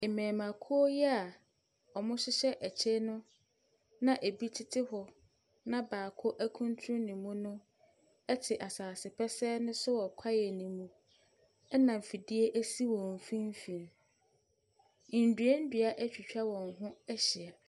Mmarimakuo yi a wɔhyehyɛ ɛkyɛ yi no, na ɛbi tete hɔ, na baako akuntunu ne mu no te asase pɛsɛɛ no so wɔ kwaeɛ no mu, ɛna fidie si wɔn mfimfini. Nnuannua atwitwa wɔn ho ahyia.